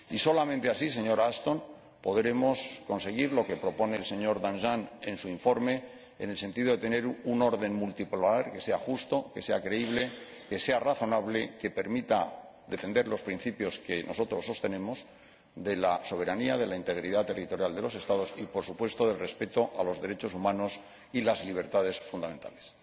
Y solamente así, señora Ashton, podremos conseguir lo que propone el señor Danjean en su informe, en el sentido de tener un orden multipolar que sea justo, que sea creíble, que sea razonable, que permita defender los principios que nosotros sostenemos de la soberanía, de la integridad territorial de los Estados y, por supuesto, del respeto a los derechos humanos y las libertades fundamentales.